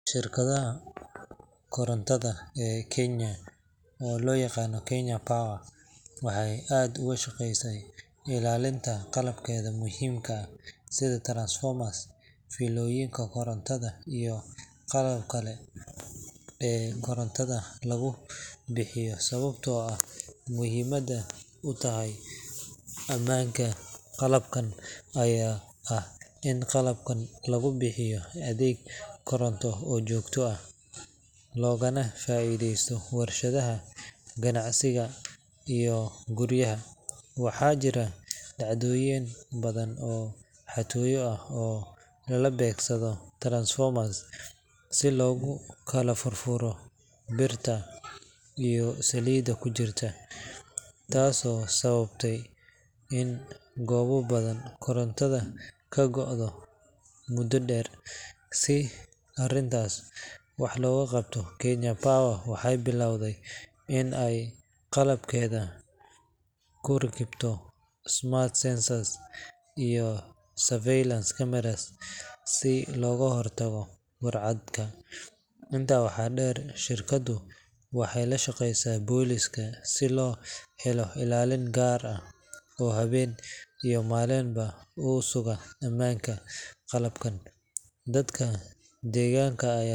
Shirkadda korontada ee Kenya oo loo yaqaan Kenya Power waxay aad uga shaqeysaa ilaalinta qalabkeeda muhiimka ah sida transformers, fiilooyinka korontada iyo qalabka kale ee korontada lagu bixiyo. Sababta ay muhiim u tahay ammaanka qalabkaan ayaa ah in qalabkan lagu bixiyo adeeg koronto oo joogto ah, loogana faa’iideysto warshadaha, ganacsiga iyo guryaha. Waxaa jiray dhacdooyin badan oo xatooyo ah oo lala beegsaday transformers si loogu kala furfuro birta iyo saliidda ku jirta, taasoo sababisay in goobo badan korontada ka go'do muddo dheer. Si arrintan wax looga qabto, Kenya Power waxay bilowday in ay qalabkeeda ku rakibto smart sensors iyo surveillance cameras si looga hortago burcadka. Intaa waxaa dheer, shirkaddu waxay la shaqeysaa booliiska si loo helo ilaalo gaar ah oo habeen iyo maalinba u suga ammaanka qalabkaan. Dadka deegaanka ayaa.